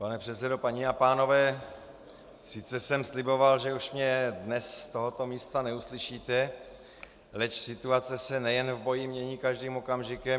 Pane předsedo, paní a pánové, sice jsem sliboval, že už mě dnes z tohoto místa neuslyšíte, leč situace se nejen v boji mění každým okamžikem.